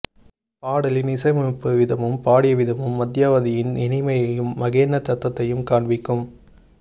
பாடலின் இசையமைப்பு விதமும் பாடிய விதமும் மத்யமாவதியின் இனிமையையும் மகோன்னதத்தையும் காண்பிக்கும்